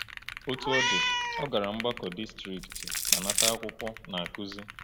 Otú ọ dị, ọ gara mgbakọ distrikti ma nata akwụkwọ Na-akụzi.